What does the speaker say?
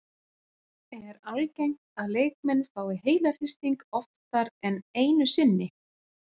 Er algengt að leikmenn fái heilahristing oftar en einu sinni?